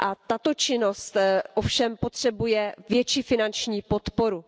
Tato činnost ovšem potřebuje větší finanční podporu.